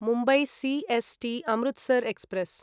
Mumbai C S T Amritsar express